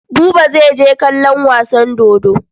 Buba zai je kallon wasan dodo.